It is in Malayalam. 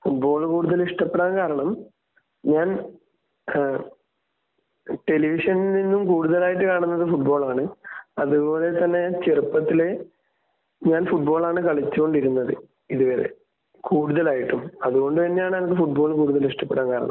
ഫുട്ബാൾ കൂടുതൽ ഇഷ്ടപ്പെടാൻ കാരണം ഞാൻ ഏഹ് ടെലിവിഷനിൽ നിന്നും കൂടുതലായിട്ട് കാണുന്നത് ഫുട്ബാൾ ആണ്. അത് പോലെ തന്നെ ചെറുപ്പത്തിലേ ഞാൻ ഫുട്ബാൾ ആണ് കളിച്ചു കൊണ്ടിരുന്നത് ഇത് വരെ കൂടുതലായിട്ടും അത് കൊണ്ട് തന്നെയാണ് ഞാൻ ഫുട്ബാൾ കൂടുതൽ ഇഷ്ടപ്പെടാൻ കാരണം.